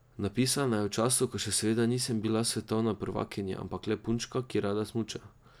Napisana je v času, ko še seveda nisem bila svetovna prvakinja, ampak le punčka, ki rada smuča.